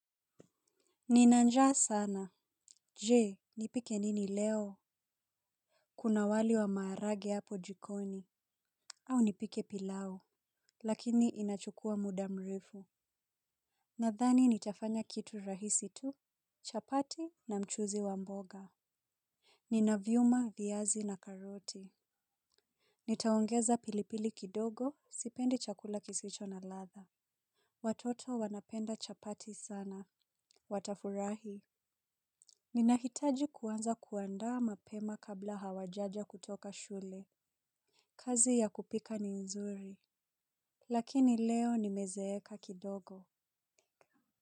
Ninanjaa sana. Je, nipike nini leo? Kuna wali wa maharage hapo jikoni. Au nipike pilau. Lakini inachukua mudamrefu. Nadhani nitafanya kitu rahisi tu? Chapati na mchuzi wa mboga. Ninavyuma, viazi na karoti. Nitaongeza pilipili kidogo, sipendi chakula kisicho na latha. Watoto wanapenda chapati sana. Watafurahi. Ninahitaji kuwanza kuandaa mapema kabla hawajaja kutoka shule. Kazi ya kupika ni nzuri. Lakini leo ni mezeeka kidogo.